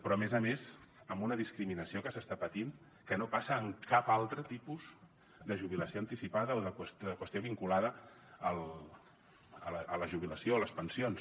però a més a més amb una discriminació que s’està patint que no passa en cap altre tipus de jubilació anticipada o de qüestió vinculada a la jubilació a les pensions